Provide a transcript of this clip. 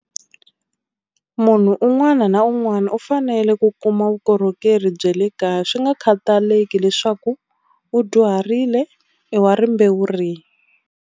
Munhu un'wana na un'wana u fanele ku kuma vukorhokeri bya le kaya swi nga khataleki leswaku u dyuharile i wa rimbewu rihi.